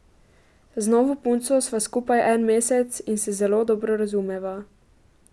Z novo punco sva skupaj en mesec in se zelo dobro razumeva.